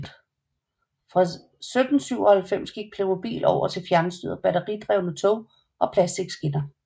Fra 1997 gik Playmobil over til fjernstyrede batteridrevne tog og plastikskinner